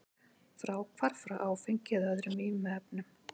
Fráhvarf frá áfengi eða öðrum vímuefnum.